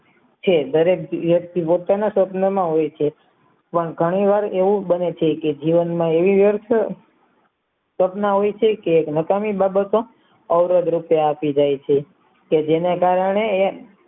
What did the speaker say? દરેક વ્યક્તિ પોતાના સ્વપ્ન માં હોય છે પણ ઘણી વાર એવું બને છે કે જીવન માં એવી વ્યર્થ સ્વપ્ન હોય છે કે નકામી બાબતો અવરોધ રૂપે આપી જાય છે કે જેના કારણે એ